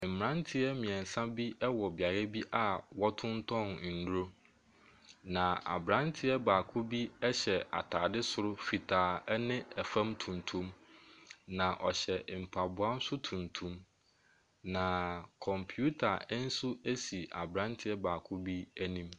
Mmeranteɛ mmiɛnsa bi wɔ beaeɛ bi a wɔtontɔn nnuro. Na aberanteɛ baako bi hyɛ ataadeɛ soro fitaa ne ase tuntum. Na ɔhyɛ mpaboa so tuntum. Kɔmpiita nso si aberateɛ baako bi anim.